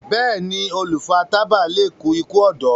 béèni olu fà tábà lẹ kú iku ọdọ.